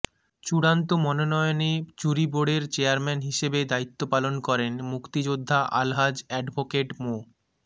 চূড়ান্ত মনোনয়নে জুরি বোর্ডের চেয়ারম্যান হিসেবে দায়িত্ব পালন করেন মুক্তিযোদ্ধা আলহাজ অ্যাডভোকেট মো